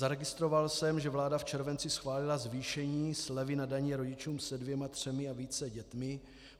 Zaregistroval jsem, že vláda v červenci schválila zvýšení slevy na dani rodičům se dvěma, třemi a více dětmi.